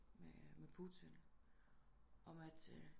Med med Putin om at